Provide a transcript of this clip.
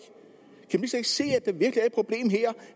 se